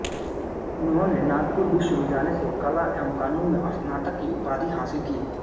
उन्होंने नागपुर विश्वविद्यालय से कला एवं कानून में स्नातक की उपाधि हासिल की